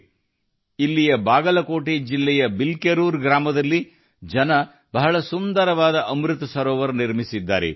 ಕರ್ನಾಟಕದ ಬಾಗಲಕೋಟೆ ಜಿಲ್ಲೆಯ ಬಿಲ್ಕೆರೂರು ಗ್ರಾಮದಲ್ಲಿ ಜನರು ಅತ್ಯಂತ ಸುಂದರವಾದ ಅಮೃತ ಸರೋವರವನ್ನು ನಿರ್ಮಿಸಿದ್ದಾರೆ